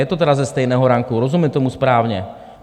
Je to tedy ze stejného ranku, rozumím tomu správně?